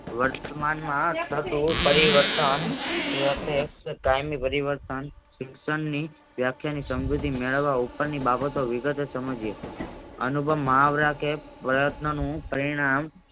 વર્તમાનમા થતું પરિવર્તન કાયમી પરિવર્તન શિક્ષણ ની વ્યાખ્યા ની સમજૂતી મેળવવા ઉપરની બાબતો વિગતે સમજીયે અનુપમ મુહાવરા કે પ્રયત્નોનું પરિણામ